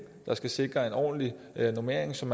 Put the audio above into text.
der skal sikre en ordentlig normering som